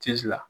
la